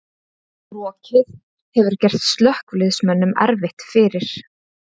Rokið hefur gert slökkviliðsmönnum erfitt fyrir